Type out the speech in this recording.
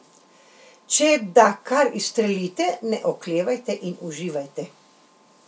Če da kar izstrelite, ne oklevajte in uživajte.